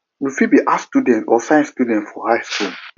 you fit be arts student or science student for high skool